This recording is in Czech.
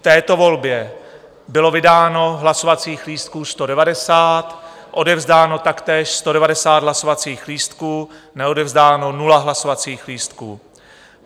V této volbě bylo vydáno hlasovacích lístků 190, odevzdáno taktéž 190 hlasovacích lístků, neodevzdáno 0 hlasovacích lístků.